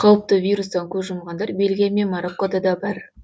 қауіпті вирустан көз жұмғандар бельгия мен мароккода да бар